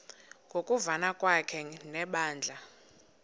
ngokuvana kwakhe nebandla